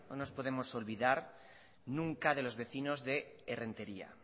no nos podemos olvidar nunca de los vecinos de errenteria